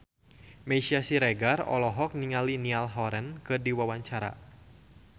Meisya Siregar olohok ningali Niall Horran keur diwawancara